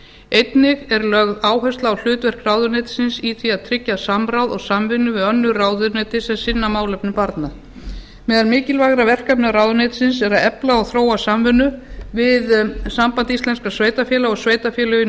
einnig er lögð áhersla á hlutverk ráðuneytisins í því að tryggja samráð og samvinnu við önnur ráðuneyti sem sinna málefnum barna meðal mikilvægra verkefna ráðuneytisins er að efla og þróa samvinnu við samband íslenskra sveitarfélaga og sveitarfélögin